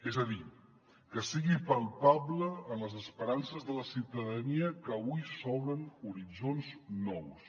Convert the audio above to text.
és a dir que sigui palpable en les esperances de la ciutadania que avui s’obren horitzons nous